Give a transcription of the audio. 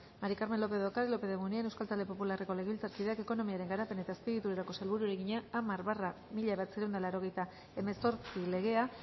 maría del carmen lópez de ocariz lópez de munain euskal talde popularreko legebiltzarkideak ekonomiaren garapen eta azpiegituretako sailburuari egina hamar barra mila bederatziehun eta laurogeita hemezortzi legea